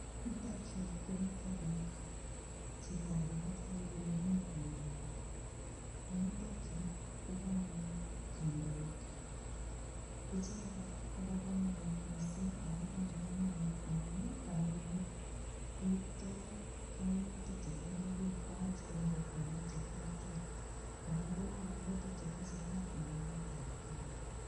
Yutok yuu komiten bik, chito agee kole mikongolole en yutok yuu kokanai kondoik icheket kobo komonut missing ako tinye komonut amun nii kondoik koipto koimutik chetindoi bik kwak en kokwonik cheterter koraa kongolole tukuk chetesetai en emet ab kenya.